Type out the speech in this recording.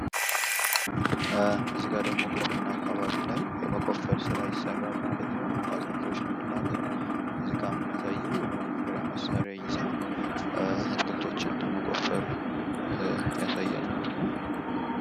እዚ ጋር ደግሞ ግብርና አካባቢ ላይ የመቆፈር ስራ ይሰራል ማለት ነው ።ለአትክልቶች ልምላሜ እዚጋ የሚያሳየው የመቆፈሪያ መሣሪያ ይዛ አትክልቶችን ለመቆፈር ያሳያል ማለት ነው ።